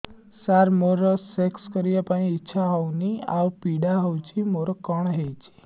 ସାର ମୋର ସେକ୍ସ କରିବା ପାଇଁ ଇଚ୍ଛା ହଉନି ଆଉ ପୀଡା ହଉଚି ମୋର କଣ ହେଇଛି